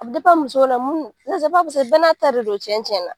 A bi muso de la bɛɛ n'a ta de don, cɛn cɛn na.